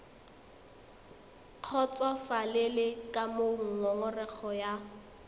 kgotsofalele ka moo ngongorego ya